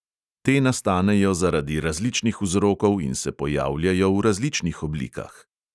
Te nastanejo zaradi različnih vzrokov in se pojavljajo v različnih oblikah.